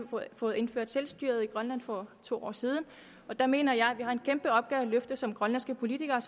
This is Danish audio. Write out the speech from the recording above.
fået indført selvstyre i grønland for to år siden og der mener jeg at vi har en kæmpe opgave at løfte som grønlandske politikere